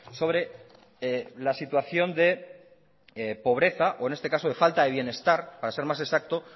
sobre la situación de pobreza o en este caso de falta de bienestar para ser más exacto